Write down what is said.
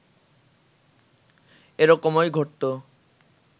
এরকমই ঘটতো